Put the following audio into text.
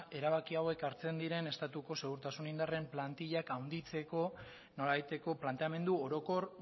ea erabaki hauek hartzen diren estatuko segurtasun indarren plantilak handitzeko nolabaiteko planteamendu orokor